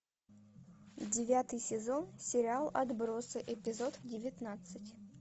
девятый сезон сериал отбросы эпизод девятнадцать